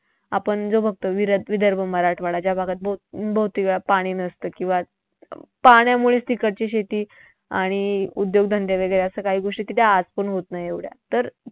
आपण जो बघतोय विदर्भ, मराठवाडा ज्या भागात बहुतेकवेळा पाणी नसतं किंवा पाण्यामुळेच तिकडची शेती आणि उद्योगधंदे वैगरे असं काही गोष्टी तिथे आजपण होत नाहीत एवढ्या तर